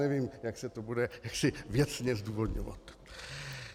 Nevím, jak se to bude věcně zdůvodňovat.